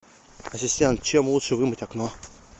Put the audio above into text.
ассистент чем лучше вымыть окно